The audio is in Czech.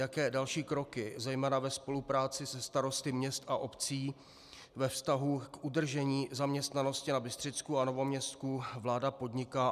Jaké další kroky zejména ve spolupráci se starosty měst a obcí ve vztahu k udržení zaměstnanosti na Bystřicku a Novoměstsku vláda podniká?